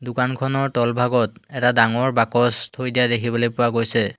দোকানখনৰ তলভাগত এটা ডাঙৰ বাকচ থৈ দিয়া দেখিবলৈ পোৱা গৈছে।